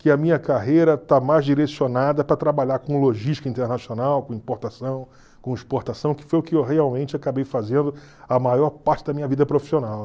que a minha carreira está mais direcionada para trabalhar com logística internacional, com importação, com exportação, que foi o que eu realmente acabei fazendo a maior parte da minha vida profissional.